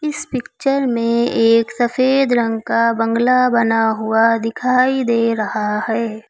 इस पिक्चर में एक सफेद रंग का बंगला बना हुआ दिखाई दे रहा है।